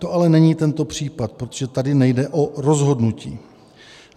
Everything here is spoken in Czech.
To ale není tento případ, protože tady nejde o rozhodnutí.